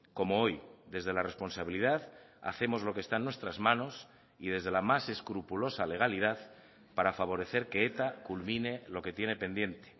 como hoy desde la responsabilidad hacemos lo que está en nuestras manos y desde la más escrupulosa legalidad para favorecer que eta culmine lo que tiene pendiente